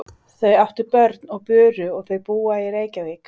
Þau áttu börn og buru og þau búa í Reykjavík.